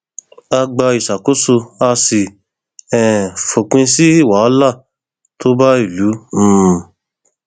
a gba ìṣàkóso a sì um fòpin sí wàhálà tó bá ìlú um